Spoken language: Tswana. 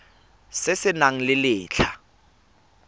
se se nang le letlha